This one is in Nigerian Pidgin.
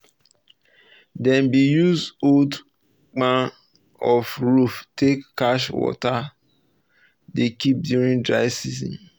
dem bin use old kpan of roof take catch water dey keep during dry seasons